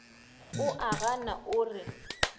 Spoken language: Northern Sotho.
o a gana o re